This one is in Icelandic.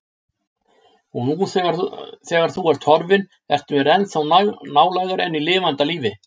Og nú þegar þú ert horfin ertu mér ennþá nálægari en í lifanda lífi.